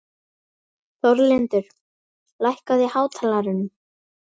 Þórlindur, lækkaðu í hátalaranum.